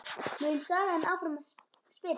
mun sagan áfram spyrja.